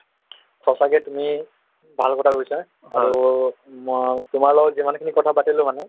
সঁচাকে তুমি ভাল কথা কৈছা আৰু মই তোমাৰ লগত যিমানখিনি কথাপাতিলো মানে